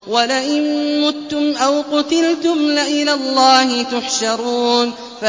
وَلَئِن مُّتُّمْ أَوْ قُتِلْتُمْ لَإِلَى اللَّهِ تُحْشَرُونَ